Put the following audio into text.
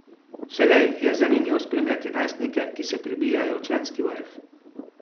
Vselej je zanimivo spremljati najstnike, ki se prebijajo v članski vrh.